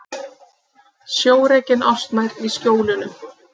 Sjórekin ástmær í Skjólunum.